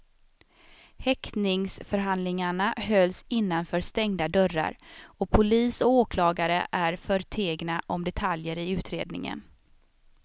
Häktningsförhandlingarna hölls innanför stängda dörrar och polis och åklagare är förtegna om detaljer i utredningen.